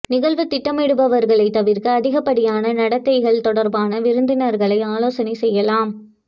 நிகழ்வு திட்டமிடுபவர்கள் தவிர்க்க அதிகப்படியான நடத்தைகள் தொடர்பான விருந்தினர்களை ஆலோசனை செய்யலாம்